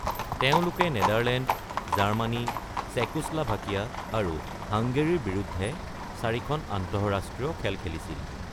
তেওঁঁলোকে Netherland, Germany, Czechoslovakia আৰু হাংগেৰীৰ বিৰুদ্ধে চাৰিখন আন্তঃৰাষ্ট্ৰীয় খেল খেলিছিল।